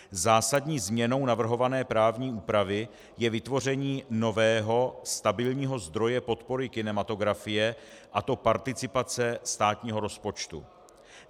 Zásadní změnou navrhované právní úpravy je vytvoření nového stabilního zdroje podpory kinematografie, a to participace státního rozpočtu.